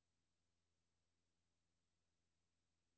Det er langtfra sikkert, at de vil mødes.